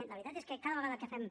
la veritat és que cada vegada que fem